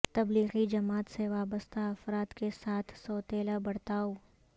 تبلیغی جماعت سے وابستہ افراد کے ساتھ سوتیلا برتاو